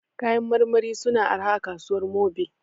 Kayan marmari su na arha a kasuwar Mobil